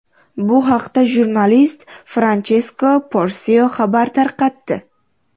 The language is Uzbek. Bu haqda jurnalist Franchesko Porsio xabar tarqatdi .